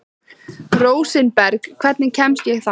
Rósinberg, hvernig kemst ég þangað?